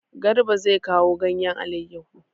Garba zai kawo ganyen aleyahu.